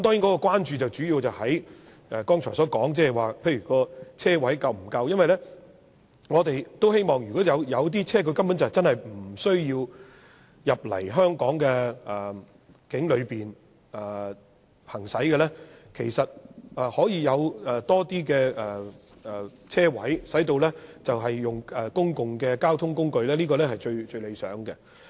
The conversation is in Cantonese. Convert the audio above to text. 我們關注的主要在剛才說的車位是否足夠，因為有些車輛是無需進入香港境內行駛，所以有更多車位，令旅客使用公共交通工具，這是最理想的。